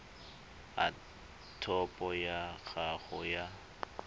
a topo ya gago ya